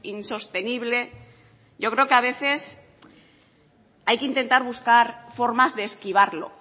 insostenible yo creo que a veces hay que intentar buscar formas de esquivarlo